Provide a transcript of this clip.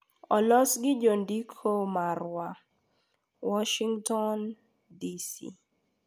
Olos gi jandiko marwa, Warshington, DC